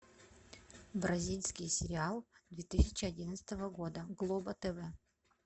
бразильский сериал две тысячи одиннадцатого года глобо тв